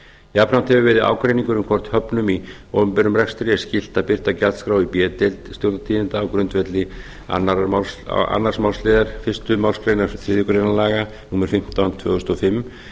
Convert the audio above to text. jafnframt hefur verið ágreiningur um hvort höfnum í opinberum rekstri er skylt að birta gjaldskrá í b deild stjórnartíðinda á grundvelli annars málsl fyrstu málsgrein þriðju grein laga númer fimmtán tvö þúsund og fimm